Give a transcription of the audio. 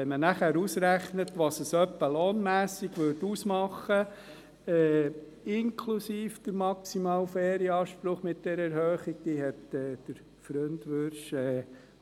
Wenn man dann ausrechnet, was das bezüglich Lohn etwa ausmacht, inklusive Erhöhung auf den maximalen Ferienanspruch – dies hat Freund Wyrsch